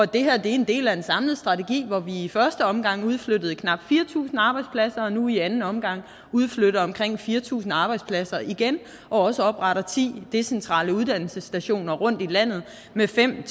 det her er en del af en samlet strategi hvor vi i første omgang udflyttede knap fire tusind arbejdspladser og nu i anden omgang udflytter omkring fire tusind arbejdspladser igen og også opretter ti decentrale uddannelsesstationer rundt i landet med fem